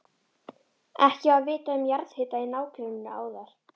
Ekki var vitað um jarðhita í nágrenninu áður.